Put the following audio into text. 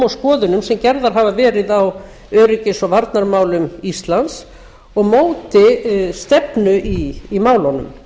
skoðunum sem gerðar hafa verið á öryggis og varnarmálum íslands og móti stefnu í málunum